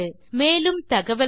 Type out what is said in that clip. மேலும் தகவல்களுக்கு